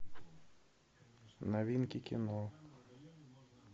новинки кино